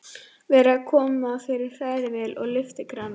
Verið að koma fyrir hrærivél og lyftikrana.